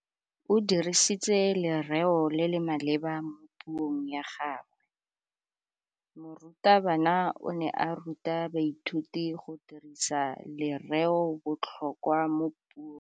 O dirisitse lerêo le le maleba mo puông ya gagwe. Morutabana o ne a ruta baithuti go dirisa lêrêôbotlhôkwa mo puong.